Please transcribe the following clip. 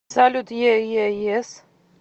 салют е е ес